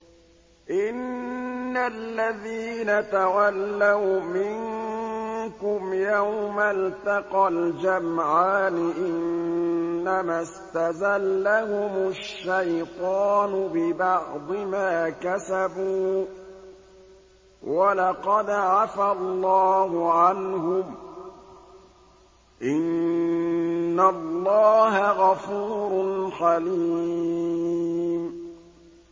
إِنَّ الَّذِينَ تَوَلَّوْا مِنكُمْ يَوْمَ الْتَقَى الْجَمْعَانِ إِنَّمَا اسْتَزَلَّهُمُ الشَّيْطَانُ بِبَعْضِ مَا كَسَبُوا ۖ وَلَقَدْ عَفَا اللَّهُ عَنْهُمْ ۗ إِنَّ اللَّهَ غَفُورٌ حَلِيمٌ